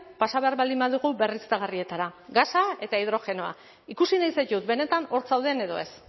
pasa behar baldin badugu berriztagarrietara gasa eta hidrogenoa ikusi nahi zaitut benetan hor zauden edo ez